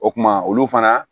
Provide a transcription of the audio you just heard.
O kuma olu fana